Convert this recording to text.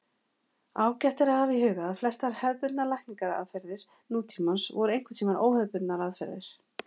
Ágætt er að hafa í huga að flestar hefðbundnar lækningaraðferðir nútímans voru einhverntíma óhefðbundnar aðferðir.